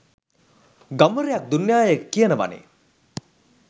ගම්වරයක් දුන්නාය කියනවනේ